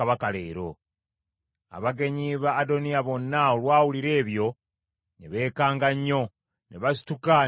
Abagenyi ba Adoniya bonna olwawulira ebyo ne beekanga nnyo, ne basituka ne basaasaana.